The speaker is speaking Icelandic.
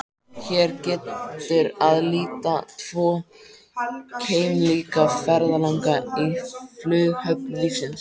Hér getur að líta tvo keimlíka ferðalanga í flughöfn lífsins.